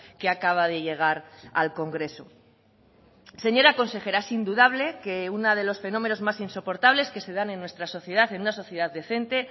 que acaba de llegar al congreso señora consejera es indudable que uno de los fenómenos más insoportables que se dan en nuestra sociedad en una sociedad decente